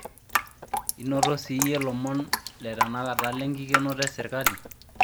inoto siiyie ilomon le tenakata le inkikenoto ee serikali